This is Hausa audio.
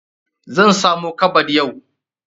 Zan samo kabad yau.